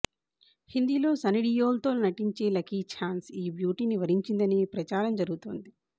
హిందీలో సన్నిడియోల్తో నటించే లక్కీఛాన్స్ ఈ బ్యూటీని వరించిందనే ప్రచారం జరుగుతోంది